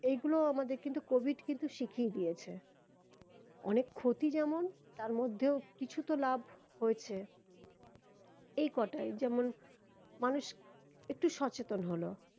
এইগুলো আমাদের কিন্তু covid কিন্তু শিখিয়ে দিয়েছে অনেক ক্ষতি যেমন তার মধ্যেও কিছু তো লাভ হয়েছে এই কোটাই যেমন মানুষ একটু সচেতন হলো